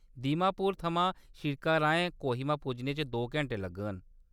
दीमापुर थमां सिड़का राहें कोहिमा पुज्जने च दो घैंटे लगङन।